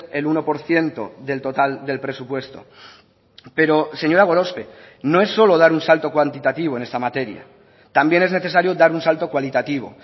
el uno por ciento del total del presupuesto pero señora gorospe no es solo dar un salto cuantitativo en esta materia también es necesario dar un salto cualitativo